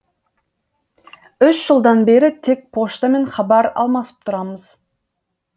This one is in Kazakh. үш жылдан бері тек поштамен хабар алмасып тұрамыз